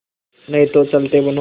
नहीं तो चलते बनो